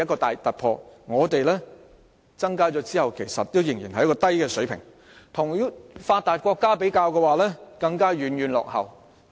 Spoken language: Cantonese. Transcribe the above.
但我們在增加有關開支後，仍處於低水平，而與發達國家相比，更是遠遠落後。